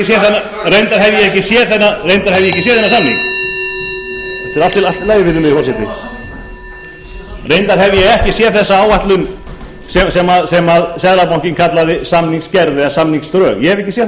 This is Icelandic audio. þetta er allt í lagi virðulegi forseti reyndar hef ég ekki séð þessa áætlun sem seðlabankinn kallaði samningsgerð eða samningsdrög ég hef ekki séð